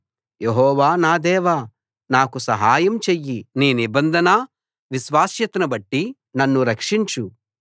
యెహోవా నా దేవా నాకు సహాయం చెయ్యి నీ నిబంధన విశ్వాస్యతను బట్టి నన్ను రక్షించు